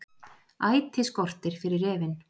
Æti skortir fyrir refinn